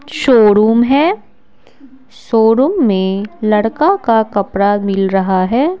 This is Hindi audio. शोरूम है शोरूम में लड़का का कपड़ा मिल रहा है।